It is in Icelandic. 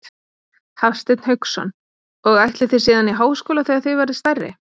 Hafsteinn Hauksson: Og ætlið þið síðan í háskóla þegar þið verðið stærri?